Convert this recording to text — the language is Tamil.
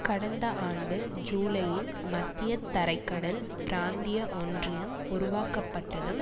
கடந்த ஆண்டு ஜூலையில் மத்திய தரை கடல் பிராந்திய ஒன்றியம் உருவாக்கப்பட்டதும்